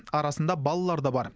арасында балалар да бар